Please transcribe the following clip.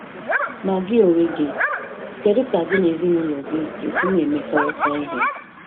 Ma gị onwe gị, kedu ka gị na ezinụlọ gị ga-esi na-emekọrịta ihe?